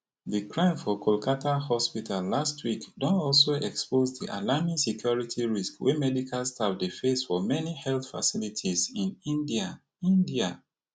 di crime for kolkata hospital last week don also expose di alarming security risk wey medical staff dey face for many health facilities in india india